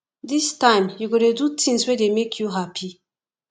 dis time you go dey do tins wey dey make you hapi